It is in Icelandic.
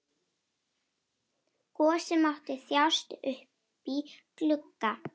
Gosi mátti þjást uppí glugga.